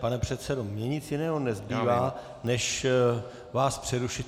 Pane předsedo, mně nic jiného nezbývá než vás přerušit.